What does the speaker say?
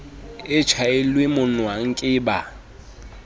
e tjhaelwe monwang ke ba